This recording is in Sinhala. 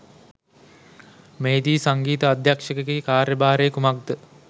මෙහි දී සංගීත අධ්‍යක්‍ෂකගේ කාර්යභාරය කුමක් ද